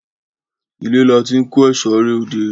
Ile la ti n ko eso re ode